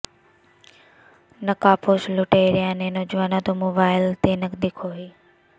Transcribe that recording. ਨਕਾਬਪੋਸ਼ ਲੁਟੇਰਿਆਂ ਨੇ ਨੌਜਵਾਨ ਤੋਂ ਮੋਬਾਈਲ ਤੇ ਨਕਦੀ ਖੋਹੀ